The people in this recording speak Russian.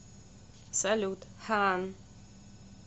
салют ханн